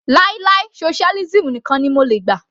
Láì láì socialism nìkan ni mo lè gbà.